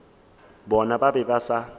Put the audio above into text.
bona ba be ba sa